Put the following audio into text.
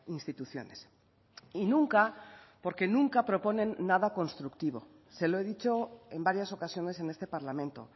instituciones y nunca porque nunca proponen nada constructivo se lo he dicho en varias ocasiones en este parlamento